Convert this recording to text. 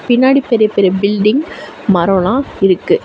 பின்னாடி பெரிய பெரிய பில்டிங் மரோலா இருக்கு.